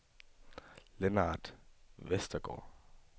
Lennart Westergaard